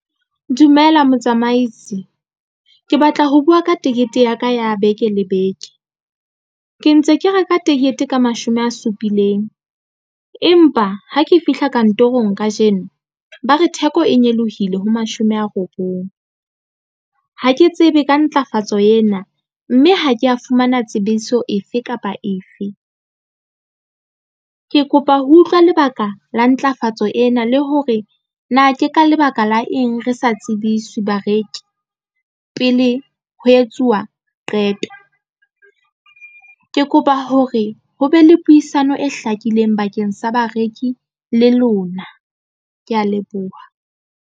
Dumela motsamaisi ke batla ho bua ka ticket ya ka ya beke le beke ke ntse ke reka ticket ka mashome a supileng, empa ha ke fihla kantorong kajeno ba re theko e nyolohile ho mashome a robong. Ha ke tsebe ka ntlafatso ena, mme ha ke ya fumana tsebiso efe kapa efe ke kopa ho utlwa lebaka la ntlafatso ena le hore na ke ka lebaka la eng re sa tsebiswe bareki pele ho etsuwa qeto ke kopa hore ho be le puisano e hlakileng pakeng tsa bareki le lona ke ya leboha.